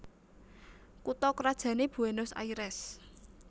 Kutha krajané Buénos Airès